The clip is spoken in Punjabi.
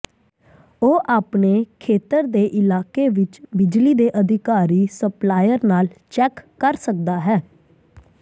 ਉਹ ਆਪਣੇ ਖੇਤਰ ਦੇ ਇਲਾਕੇ ਵਿਚ ਬਿਜਲੀ ਦੇ ਅਧਿਕਾਰੀ ਸਪਲਾਇਰ ਨਾਲ ਚੈੱਕ ਕਰ ਸਕਦਾ ਹੈ